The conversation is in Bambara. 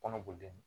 Kɔnɔboli